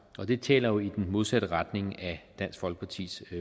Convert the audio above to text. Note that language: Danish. og det taler jo i den modsatte retning af dansk folkepartis